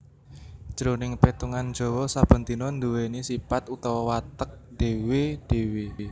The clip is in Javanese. Jroning petungan Jawa saben dina nduwèni sipat utawa watek dhéwé dhéwé